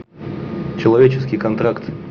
человеческий контракт